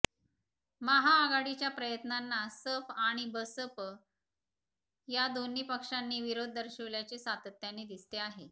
महाआघाडीच्या प्रयत्नांना सप आणि बसप या दोन्ही पक्षांनी विरोध दर्शविल्याचे सातत्याने दिसते आहे